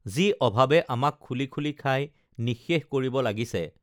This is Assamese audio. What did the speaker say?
যি অভাৱে আমাক খুলি খুলি খাই নিঃশেষ কৰিব লাগিছে